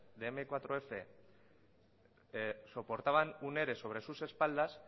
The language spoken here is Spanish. de eme cuatro efe soportaban un ere sobre sus espaldas